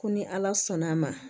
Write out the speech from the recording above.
Ko ni ala sɔnn'a ma